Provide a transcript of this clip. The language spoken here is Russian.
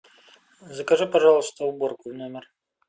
закажи пожалуйста уборку в номер